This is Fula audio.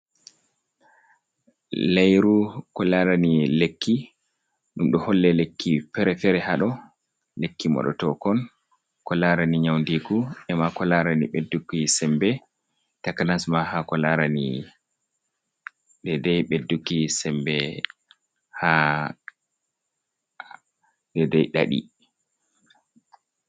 Layru ko larani lekki ɗum ɗo holle lekki fere-fere ha ɗo, lekki moɗe tokon ko larani nyaundiku ema ko larani ɓedduki sembe, taknasma ha ko larani dai dai ɓedduki sembe ha dei dei ɗaɗi.